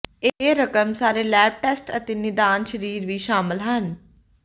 ਇਹ ਰਕਮ ਸਾਰੇ ਲੈਬ ਟੈਸਟ ਅਤੇ ਨਿਦਾਨ ਸਰੀਰ ਵੀ ਸ਼ਾਮਲ ਹਨ